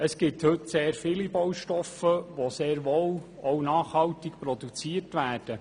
Es gibt heute sehr viele Baustoffe, die sehr wohl auch nachhaltig produziert werden.